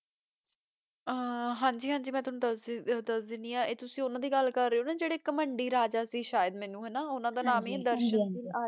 ਆਹ ਹਾਂਜੀ ਹਾਂਜੀ ਮੈਂ ਤੁਵਾਨੁ ਦਸ ਦੀ ਦਸ ਦੀ ਆਂ ਆਯ ਤੁਸੀਂ ਓਨਾਂ ਦੀ ਗਲ ਕਰ ਰਹੀ ਊ